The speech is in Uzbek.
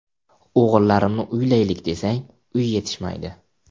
O‘g‘illarimni uylaylik desak, uy yetishmaydi.